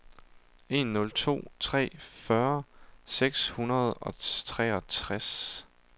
en nul to tre fyrre seks hundrede og treogtres